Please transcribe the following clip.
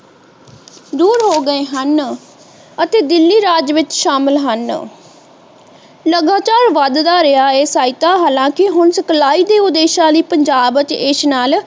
ਦੂਰ ਹੋ ਗਏ ਹਨ ਅਤੇ ਦਿੱਲੀ ਰਾਜ ਵਿਚ ਸ਼ਾਮਿਲ ਹਨ ਲਗਾਤਾਰ ਵੱਧਦਾ ਰਿਹਾ ਹੈ ਸਹਾਇਤਾ ਹਾਲਾਂਕਿ ਹੁਣ supply ਦੇ ਉਦੇਸ਼ਾਂ ਲਈ ਪੰਜਾਬ ਅਤੇ ਇਸ ਨਾਲ